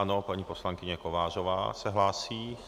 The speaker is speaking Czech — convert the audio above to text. Ano, paní poslankyně Kovářová se hlásí.